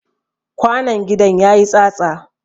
Kwanon gidan ya yi tsatsa.